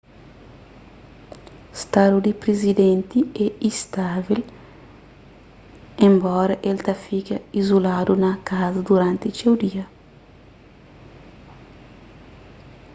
stadu di prizidenti é istável enbora el ta fika izuladu na kaza duranti txeu dia